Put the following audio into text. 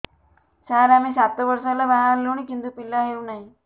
ସାର ଆମେ ସାତ ବର୍ଷ ହେଲା ବାହା ହେଲୁଣି କିନ୍ତୁ ପିଲା ହେଉନାହିଁ